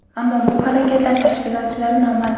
ammo bu harakatlar tashkilotchilari noma’lum.